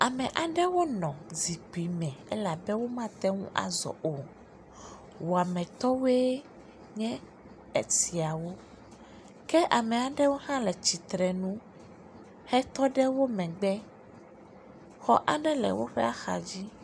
Ame aɖewo nɔ zikpui me elabe wo mateŋu azɔ o,wɔametɔwoe nye esiawo ke ameaɖewo hã le tsitrenu, hetɔɖe wo megbe, xɔ aɖe le woƒe axadzi.